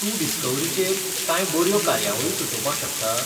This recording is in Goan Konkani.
तूं डिस्कव्हरीचेर कांय बऱ्यो कार्यावळी सुचोवपाक शकता?